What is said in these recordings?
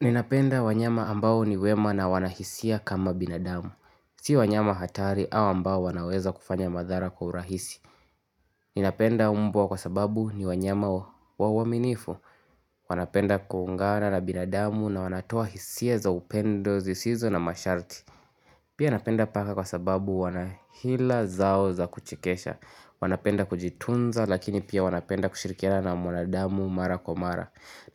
Ninapenda wanyama ambao ni wema na wanahisia kama binadamu. Si wanyama hatari au ambao wanaweza kufanya madhara kwa urahisi. Ninapenda mbwa kwa sababu ni wanyama waaminifu. Wanapenda kuungana na binadamu na wanatoa hisia za upendo zisizo na masharti. Pia napenda paka kwa sababu wanahila zao za kuchekesha. Wanapenda kujitunza lakini pia wanapenda kushirikiana na mwanadamu mara kwa mara.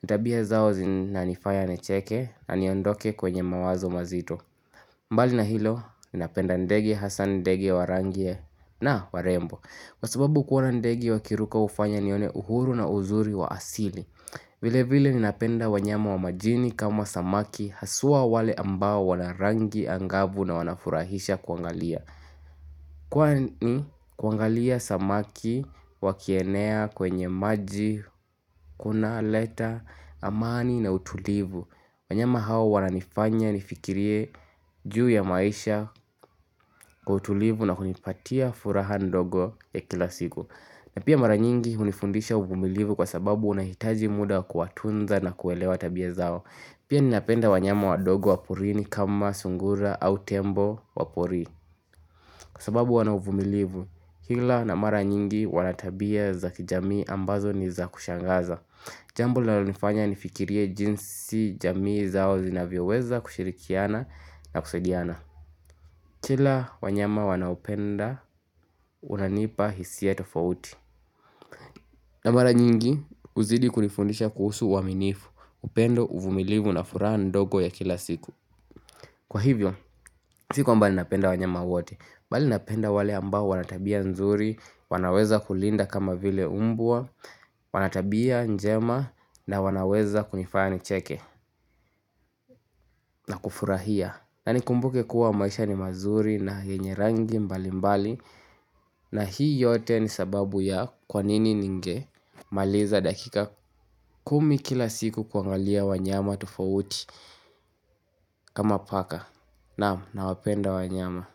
Ni tabia zao zinanifanya nicheke na niondoke kwenye mawazo mazito mbali na hilo, ninapenda ndege hasa ndege wa rangi ya na warembo Kwa sababu kuona ndege wakiruka hufanya nione uhuru na uzuri wa asili vile vile ninapenda wanyama wa majini kama samaki Haswa wale ambao wana rangi angavu na wanafurahisha kuangalia Kwani kuangalia samaki wakienea kwenye maji Kuna leta amani na utulivu wanyama hawa wananifanya nifikirie juu ya maisha Kwa utulivu na kunipatia furaha ndogo ya kila siku na pia mara nyingi hunifundisha uvumilivu kwa sababu unahitaji muda kuwatunza na kuelewa tabia zao Pia ninapenda wanyama wadogo wa porini kama sungura au tembo wa porini Kwa sababu wana uvumilivu ila na mara nyingi wana tabia za kijamii ambazo ni za kushangaza Jambo linalonifanya nifikirie jinsi jamii zao zinavyoweza kushirikiana na kusaidiana. Kila wanyama wanaupenda, unanipa hisia tofauti. Na mara nyingi, huzidi kunifundisha kuhusu waaminifu, upendo, uvumilivu na furaha ndogo ya kila siku. Kwa hivyo, si kwamba napenda wanyama wote, bali napenda wale ambao wanatabia nzuri, wanaweza kulinda kama vile mbwa, Wanatabia njema na wanaweza kunifanya nicheke na kufurahia na nikumbuke kuwa maisha ni mazuri na yenye rangi mbali mbali na hii yote ni sababu ya kwa nini ninge maliza dakika kumi kila siku kuangalia wanyama tofauti kama paka Naam nawapenda wanyama.